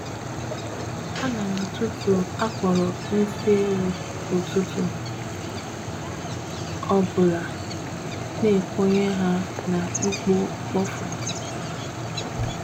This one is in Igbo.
Ana m atutu akporo nsi ewu, ụtụtụ obula n’ekponye ha na ikpo mkpofu.